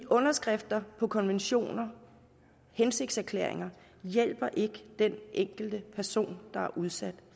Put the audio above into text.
underskrifter på konventioner og hensigtserklæringer hjælper ikke den enkelte person der er udsat